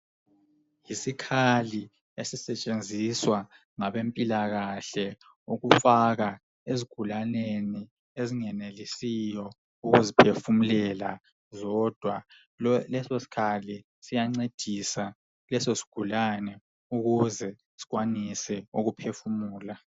Yisikhali esisetshenziswa ngabempilakahle ukufaka ezigulaneni ezingenelisiyo ukuziphefumulela zodwa leso sikhali siyancedisa leso sigulane ukuze sikwanise ukuphefumula.